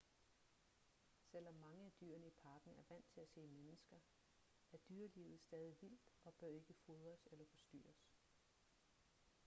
selvom mange af dyrene i parken er vant til at se mennesker er dyrelivet stadig vildt og bør ikke fodres eller forstyrres